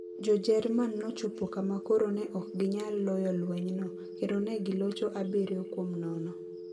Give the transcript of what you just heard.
Jo-jerman no chopo kama koro ne ok ginyal loyo lwenyno, kendo ne gilocho abiryo kuom nono.